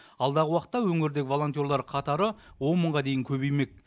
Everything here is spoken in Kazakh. алдағы уақытта өңірдегі волонтерлар қатары он мыңға дейін көбеймек